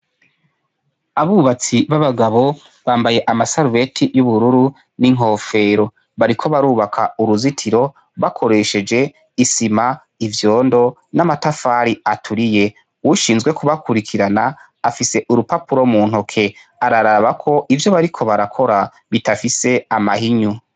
Abubatsi b'abagabo bambaye amasarubeti y'ubururu n'inkofero bariko barubaka uruzitiro bakoresheje isima ivyondo n'amatafari aturiye uwushinzwe kubakurikirana afise urupapuro mu ntoke ararabako ivyo bariko barakora bitafise mahinyu.